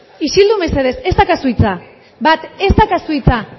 isildu mesedez ez daukazu hitza bat ez daukazu hitza